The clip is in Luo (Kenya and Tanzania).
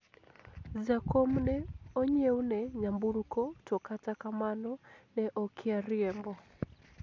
jakom ne onyiewne nyamburko to kata kamano ,ne okia riembo